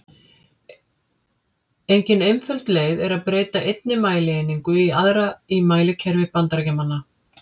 Engin einföld leið er að breyta einni mælieiningu í aðra í mælikerfi Bandaríkjamanna.